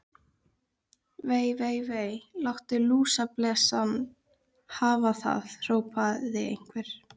Vei, vei, vei. látum lúsablesana hafa það hrópaði einhver.